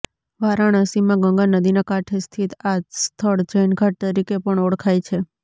વારાણસીમાં ગંગા નદીના કાંઠે સ્થિત આ સ્થળ જૈન ઘાટ તરીકે પણ ઓળખાય છે